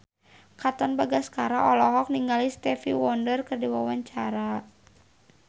Katon Bagaskara olohok ningali Stevie Wonder keur diwawancara